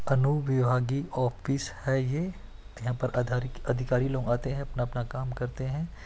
अनुविभागीय ऑफिस हैँ ये यहाँ पर अधारी अधिकारी लोग आते हैँ अपना अपना काम करते हैं।